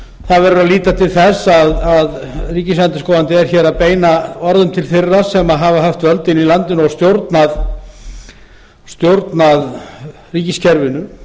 verður að líta til þess að ríkisendurskoðandi er hér að beina orðum til þeirra sem hafa haft völdin í landinu og stjórnað ríkiskerfinu